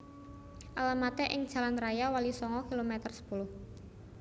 Alamaté ing Jalan Raya Walisongo kilometer sepuluh